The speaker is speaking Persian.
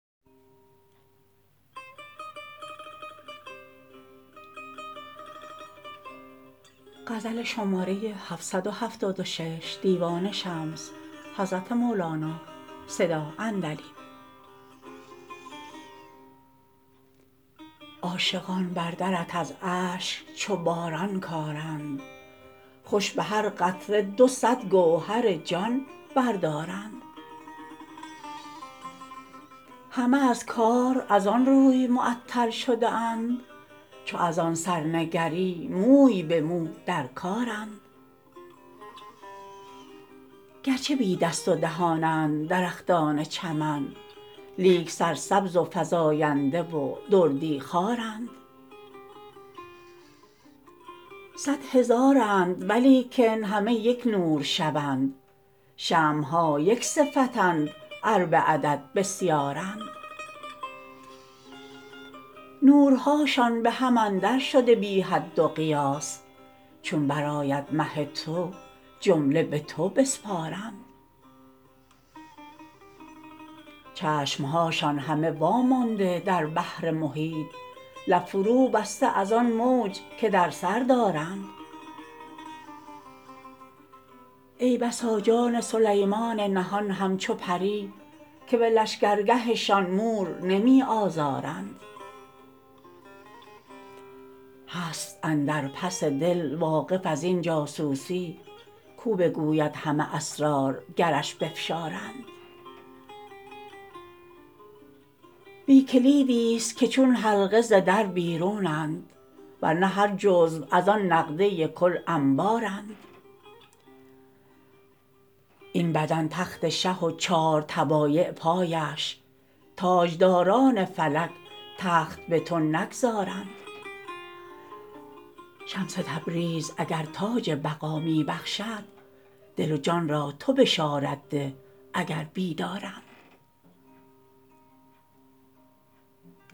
عاشقان بر درت از اشک چو باران کارند خوش به هر قطره دو صد گوهر جان بردارند همه از کار از آن روی معطل شده اند چو از آن سر نگری موی به مو در کارند گرچه بی دست و دهانند درختان چمن لیک سرسبز و فزاینده و دردی خوارند صد هزارند ولیکن همه یک نور شوند شمع ها یک صفتند ار به عدد بسیارند نورهاشان به هم اندرشده بی حد و قیاس چون برآید مه تو جمله به تو بسپارند چشم هاشان همه وامانده در بحر محیط لب فروبسته از آن موج که در سر دارند ای بسا جان سلیمان نهان همچو پری که به لشکرگهشان مور نمی آزارند هست اندر پس دل واقف از این جاسوسی کو بگوید همه اسرار گرش بفشارند بی کلیدیست که چون حلقه ز در بیرونند ور نه هر جزو از آن نقده کل انبارند این بدن تخت شه و چار طبایع پایش تاجداران فلک تخت به تو نگذارند شمس تبریز اگر تاج بقا می بخشد دل و جان را تو بشارت ده اگر بیدارند